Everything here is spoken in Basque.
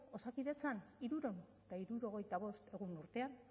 osakidetzan hirurehun eta hirurogeita bost egun urtean